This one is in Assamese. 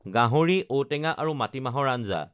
গাহৰি ঔ টেঙা আৰু মাটিমাহৰ আঞ্জা